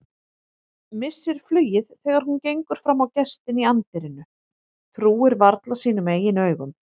Missir flugið þegar hún gengur fram á gestinn í anddyrinu, trúir varla sínum eigin augum.